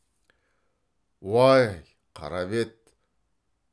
уай қара бет